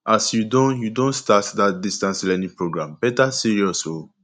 as you don you don start dat distance learning program better serious o